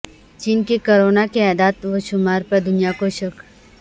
چین کے کورونا کے اعداد وشمار پر دنیا کو شک